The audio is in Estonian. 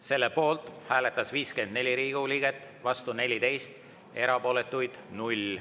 Selle poolt hääletas 54 Riigikogu liiget, vastu 14, erapooletuid oli 0.